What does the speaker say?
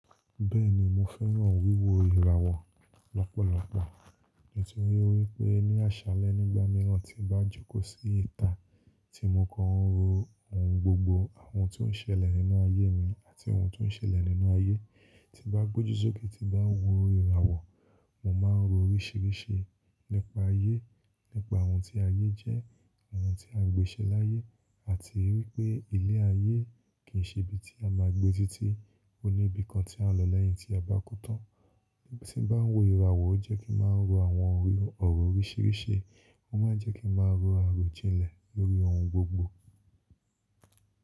Bẹ́ẹ̀ni mo fẹ́ràn wíwo ìràwọ̀ lọ́pọ̀lọpọ̀ nítorí pé ní àṣálẹ́ nígbà mìíràn tí ń bá jókòó sí ìta tí mo kàn ń ro ohun gbogbo, àwọn tó ń ṣẹlẹ̀ nínú ayé mi àti ohun tó ń ṣẹlẹ̀ nínú ayé tí ń bá gboju sókè tí bá ń wo ìràwọ̀, mo máa ń ro oríṣìíríṣìí nípa ayé, nípa ohun tí ayé jẹ́, àwọn tí a gbé ṣẹ́ láyé àti wípé ilé ayé kìi n ṣe ibi tí a máa gbé títí, ó ní ibi kan tí à ń lọ lẹ́yìn tí a bá kú tán. Nígbà tí ń bá ń wo ìràwọ̀ ó jẹ́ kí máa ń ro àwọn òrò oríṣìíríṣìí, ó máa ń jẹ́ kí máa rò àròjinlẹ̀ lórí ohun gbogbo.